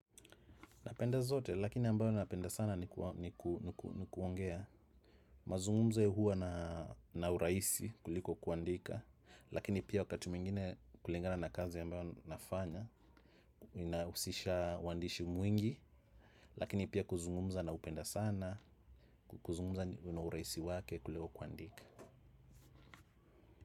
Napenda zote, lakini ambayo napenda sana ni kuongea mazungumzo huwa na urahisi kuliko kuandika. Lakini pia wakati mwingine kulingana na kazi ambayo nafanya, ninausisha wandishi mwingi. Lakini pia kuzungumza na upenda sana, kuzungumza una urahisi wake kuliko kuandika.